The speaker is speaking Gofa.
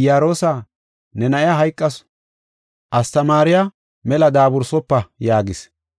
“Iyaroosa, ne na7iya hayqasu; astamaariya mela daabursofa” yaagis.